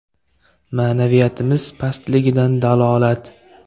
Ma’naviyatimiz pastligidan dalolat!..